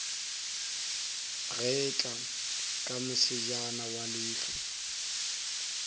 getla ka mosejana wa leihlo